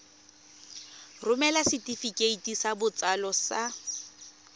romela setefikeiti sa botsalo sa